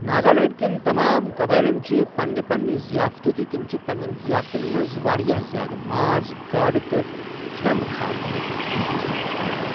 ناگالینٛڈ کیٚن تمام قَبٲیِلن چھ پنٕنہِ پپننہِ ضیافتہٕ ، تہٕ تِم چھِ پنٛنیٚن ظِیافتن منٛز واریاہ زیادٕ ماز، گاڈ، تہٕ كھٗمب كھٲرِمٕتہِ چیز اِستعمال کَران۔